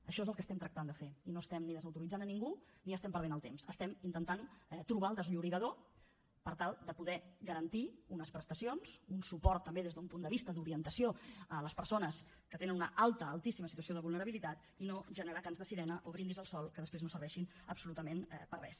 això és el que estem tractant de fer i no estem ni desautoritzant a ningú ni estem perdent el temps estem intentant trobar el desllorigador per tal de poder garantir unes prestacions un suport també des d’un punt de vista d’orientació a les persones que tenen una alta altíssima situació de vulnerabilitat i no generar cants de sirena o brindis al sol que després no serveixin absolutament per a res